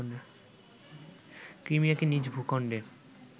ক্রিমিয়াকে নিজ ভূখণ্ডের